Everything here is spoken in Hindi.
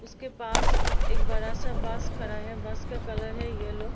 उसके पास एक बड़ा-सा बस खड़ा है बस का कलर है येल्लो --